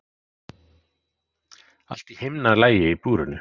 Allt í himnalagi í búrinu.